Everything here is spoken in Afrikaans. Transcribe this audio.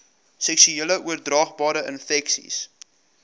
seksueel oordraagbare infeksies